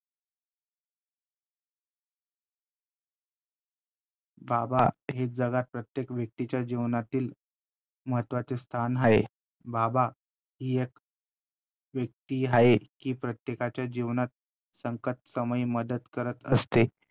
बाबा हे जगात प्रत्येक व्यक्तीच्या जीवनातील महत्वाचे स्थान आहे. बाबा हि एक व्यक्ती आहे कि प्रत्येकाच्या जीवनात संकटसमयी मदत करत असते